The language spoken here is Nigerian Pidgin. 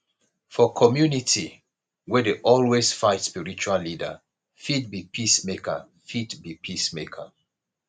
for community wey dey always fight spiritual leader fit be peacemaker fit be peacemaker